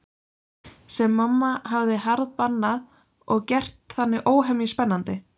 Sem mamma hafði harðbannað og gert þannig óhemju spennandi.